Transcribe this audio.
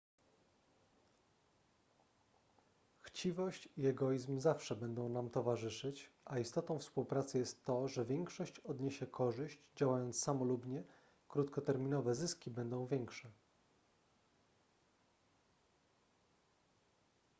chciwość i egoizm zawsze będą nam towarzyszyć a istotą współpracy jest to że gdy większość odniesie korzyść działając samolubnie krótkoterminowe zyski będą większe